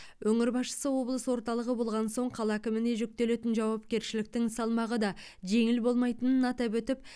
өңір басшысы облыс орталығы болған соң қала әкіміне жүктелетін жауапкершіліктің салмағы да жеңіл болмайтынын атап өтіп